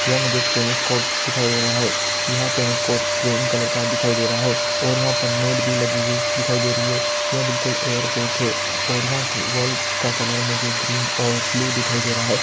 यहाँ पर मुझे एक टेनिस कोर्ट दिखाई दे रहा है। यहां टेनिस कोर्ट ग्रीन कलर का दिखाई दे रहा है और यहाँ पर नेट भी लगी दिखाई दे रही है। यह बिलकुल एयर पैक है और यहाँ वॉल का कलर मुझे ग्रीन और ब्लू दिखाई दे रहा है।